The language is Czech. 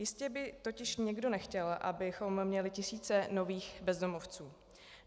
Jistě by totiž nikdo nechtěl, abychom měli tisíce nových bezdomovců.